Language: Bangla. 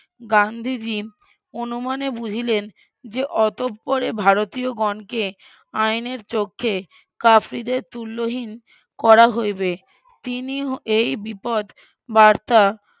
গান্ধীজি উনুমানে বুঝিলেন যে অতঃপরে ভারতীয়গণকে আইনের চোখে কাফ্রিদের তুল্যহীন করা হইবে তিনি এই বিপদ বার্তা